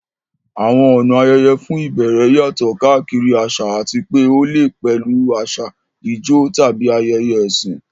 Àwọn ọ̀nà ayẹyẹ fún ìbẹ̀rẹ̀ yàtọ̀ káàkiri àṣà àti pé ó lè pẹ̀lú àsè, ijó, tàbí ayẹyẹ ẹ̀sìn.